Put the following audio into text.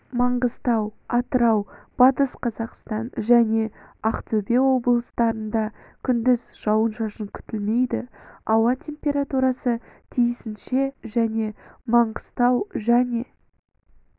маңғыстау атырау батыс қазақстан және ақтөбе облыстарында күндіз жауын-шашын күтілмейді ауа температурасы тиісінше және маңғыстау және